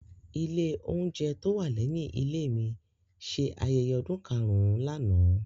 Ilé oúnjẹ tó wà lẹ́yìn ilé mi ṣe ayẹyẹ ọdún karùn-ún lánàá.